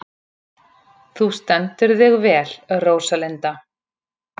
Þú stendur þig vel, Róslinda!